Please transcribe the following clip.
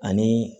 Ani